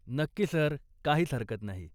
नक्की सर, काहीच हरकत नाही.